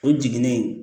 O jiginnen